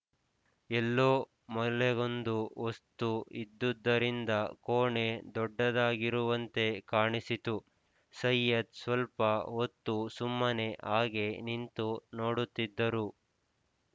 ಎಲ್ಲೋ ಮೂಲೆಗೊಂದು ವಸ್ತು ಇದ್ದುದರಿಂದ ಕೋಣೆ ದೊಡ್ಡದಾಗಿರುವಂತೆ ಕಾಣಿಸಿತು ಸೈಯದ್ ಸ್ವಲ್ಪ ಹೊತ್ತು ಸುಮ್ಮನೆ ಹಾಗೇ ನಿಂತು ನೋಡುತ್ತಿದ್ದರು